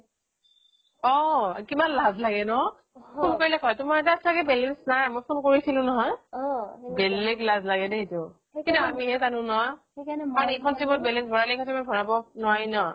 অহ কিমান লাজ নাগে ন phone কৰিলেই কয় তোমাৰ তাত ছাগে balance নাই মই phone কৰিছিলো নহয় বেলেগ লাজ লাগে দে সেইটো কিন্তু আমি হে জানো ন এইখন SIM ত balance ভৰালে সেইখন SIM ত ভৰাব নোৱাৰি ন